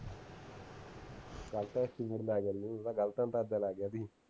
ਇਹਦਾ ਗਲਤ ਅੰਦਾਜਾ ਲੱਗ ਗਿਆ ਵੀ